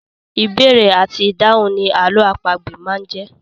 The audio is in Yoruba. Ìbéèrè àti ìdáhùn ni àlọ́ àpagbè máa ń jẹ́.